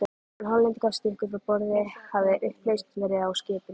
Síðan Hollendingarnir stukku frá borði, hafði upplausn verið á skipinu.